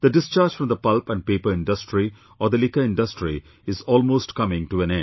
The discharge from the pulp and paper industry or the liquor industry is almost coming to an end